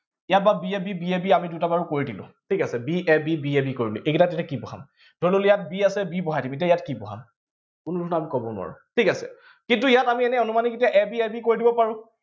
ইয়াত বাৰু b a b b a b আমি দুটা বাৰু কৰি দিলো ঠিক আছে b a b b a b কৰি দিলো এইকেইটাত এতিয়া কি বহাম ধৰি ললো ইয়াত b আছে ইয়াত b বহাম। কিন্তু ইয়াত কি বহাম ধৰি ললে ইয়াত b আছে বি বহাম কিন্তু ইয়াত কি বহাম কোনো ধৰণে আমি কব নোৱাৰো। ঠিক আছে, কিন্তু ইয়াত আমি এটা অনুমাণিক a b a b কৰি দিব পাৰো